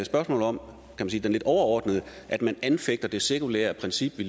spørgsmål om det lidt overordnede at man anfægter det sekulære princip vi